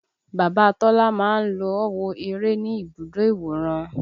Bàbá Tọ́lá máa ń lọ wo eré ní ibùdó ìwòran